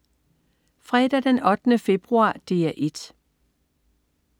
Fredag den 8. februar - DR 1: